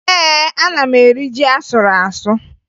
Ee, ana m eri ji a sụrụ asụ